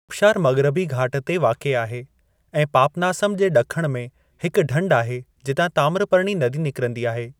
आबशारु मग़रबी घाट ते वाक़िए आहे ऐं पापनासम जे ॾिखण में हिक ढंढ आहे जितां ताम्रपर्णी नदी निकरंदी आहे।